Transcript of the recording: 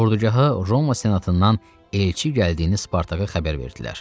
Ordugaha Roma Senatından elçi gəldiyini Spartaka xəbər verdilər.